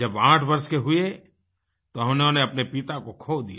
जब 8 वर्ष के हुए तो उन्होंने अपने पिता को खो दिया